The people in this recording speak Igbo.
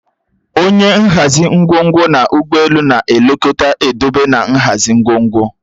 Onye nhazi ngwongwo n'ụgbọelu na-elekọta ndobe na nhazi ngwongwo